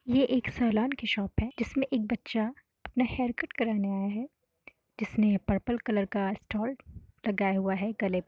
ये एक सेलॉन की शॉप है। जिस में एक बच्चा अपना हेयर कट कराने आया है। जिसने पर्पल कलर का स्टोल लगाया हुआ है। गले --